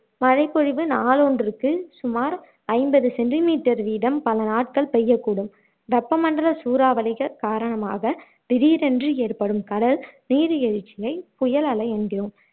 மழைப்பொழிவு நாளொன்றுக்கு சுமார் ஐம்பது centimeter வீதம் பலநாட்கள் பெய்யக்கூடும் வெப்ப மண்டல சூறாவளிகள் காரணமாக திடீரென்று ஏற்படும் கடல் நீர் எழுச்சியை புயல் அலை என்கிறோம்